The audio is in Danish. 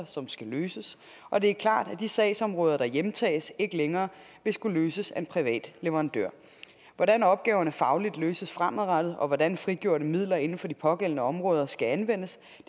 som skal løses og det er klart at de sagsområder der hjemtages ikke længere vil skulle løses af en privat leverandør hvordan opgaverne fagligt løses fremadrettet og hvordan frigjorte midler inden for de pågældende områder skal anvendes